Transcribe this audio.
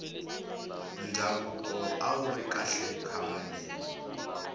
ndhavuko awuri kahle khale